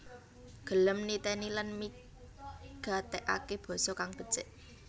Gelem niteni lan migatekake basa kang becik